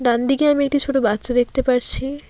ডানদিকে আমি একটি ছোট বাচ্চা দেখতে পারছি।